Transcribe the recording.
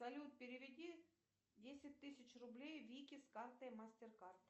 салют переведи десять тысяч рублей вике с карты мастеркард